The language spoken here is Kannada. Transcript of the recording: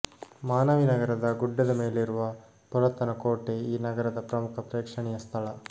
ಮಾನವಿ ನಗರದ ಗುಡ್ಡದ ಮೇಲಿರುವ ಪುರಾತನ ಕೋಟೆ ಈ ನಗರದ ಪ್ರಮುಖ ಪ್ರೇಕ್ಷಣೀಯ ಸ್ಥಳ